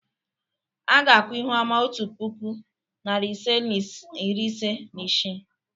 A ga-akwụ ihuoma otu puku, narị ise na iri ise na isii.